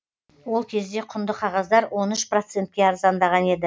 ол кезде құнды қағаздар он үш процентке арзандаған еді